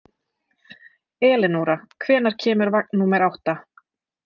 Eleonora, hvenær kemur vagn númer átta?